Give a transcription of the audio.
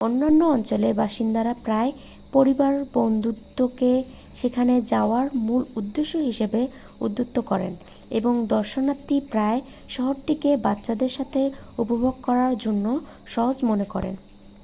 অন্যান্য অঞ্চলের বাসিন্দারা প্রায়ই পরিবার-বন্ধুত্বকে সেখানে যাওয়ার মূল উদ্দেশ্য হিসাবে উদ্ধৃত করেন এবং দর্শনার্থীরা প্রায়ই শহরটিকে বাচ্চাদের সাথে উপভোগ করার জন্য সহজ মনে করেন